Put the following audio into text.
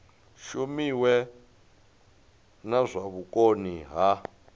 shumiwe na zwa vhukoni ha